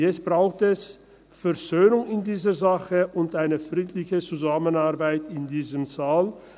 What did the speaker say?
Jetzt braucht es Versöhnung in dieser Sache und eine friedliche Zusammenarbeit in diesem Saal.